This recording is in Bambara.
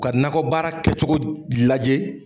U ka nakɔ baara kɛcogo lajɛ